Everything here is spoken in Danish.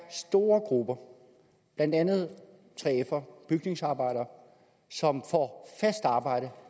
store grupper blandt andet 3fere bygningsarbejdere som får fast arbejde